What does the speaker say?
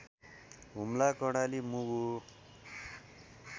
Humla Karnali Mugu